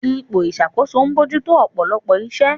Ipò ìṣàkóso ń bójú tó ọ̀pọ̀lọpọ̀ iṣẹ́.